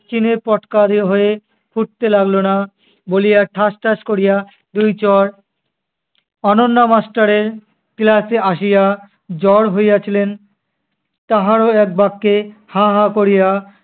চীনে-পটকারী হয়ে ফুটতে লাগলো না! বলিয়া ঠাস ঠাস করিয়া দুই চড় অনন্যা master এর class এ আসিয়া জ্বর হইয়াছিলেন, তাহারও এক বাক্যে হা-হা করিয়া